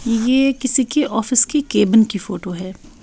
ये किसी के ऑफिस की केबन की फोटो है।